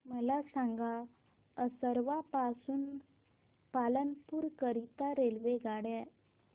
मला सांगा असरवा पासून पालनपुर करीता रेल्वेगाड्या